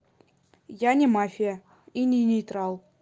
я не мафия и не нейтрал